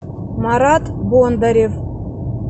марат бондарев